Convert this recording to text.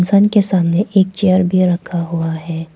दुकान के सामने एक चेयर भी रखा हुआ है।